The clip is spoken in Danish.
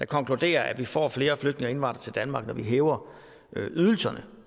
konkluderer at vi får flere flygtninge og indvandrere til danmark når vi hæver ydelserne